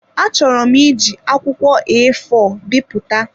Achọrọ m iji akwụkwọ eefọọ bipụta.